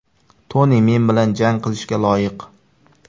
Toni men bilan jang qilishga loyiq.